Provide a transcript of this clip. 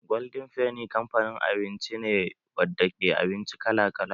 Golden feni kamfanin abinci ne wadda ke da abinci kala kala